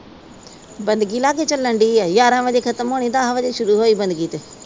ਚਲਣ ਦਈ ਆ। ਗਿਆਰਾ ਵਜੇ ਖਤਮ ਹੋਣੀ ਆ, ਦਸ ਵਜੇ ਦੀ ਬਣ ਗਈ ਤੇ।